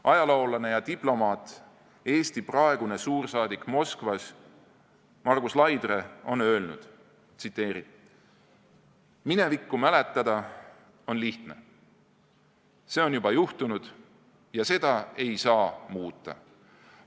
Ajaloolane ja diplomaat, Eesti praegune suursaadik Moskvas Margus Laidre on öelnud: "Minevikku mäletada on lihtne – see on juba juhtunud ja seda ei saa muuta.